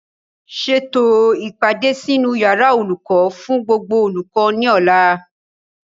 Ṣètò o ìpàdé sínú yàrá olùkọ́ fún gbogbo olùkọ́ ní ọ̀la